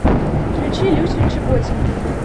включи люсю чеботину